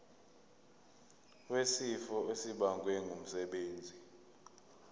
wesifo esibagwe ngumsebenzi